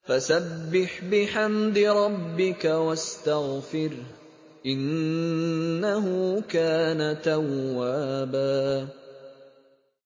فَسَبِّحْ بِحَمْدِ رَبِّكَ وَاسْتَغْفِرْهُ ۚ إِنَّهُ كَانَ تَوَّابًا